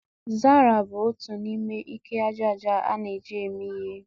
Zara bụ otu n'ime ike aja aja na-eji eme ihe